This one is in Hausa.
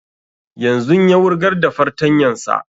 Yanzun ya wurgar da fartanyan sa